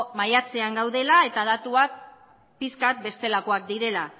maiatzean gaudela eta datuak pixka bat bestelakoak direla